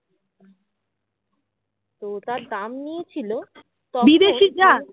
তো তার দাম নিয়েছিল